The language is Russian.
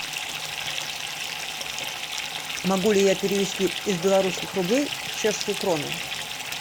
могу ли я перевести из белорусских рублей в чешские кроны